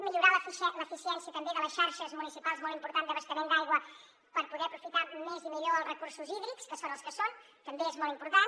millorar l’eficiència també de les xarxes municipals molt important d’abastament d’aigua per poder aprofitar més i millor els recursos hídrics que són els que són també és molt important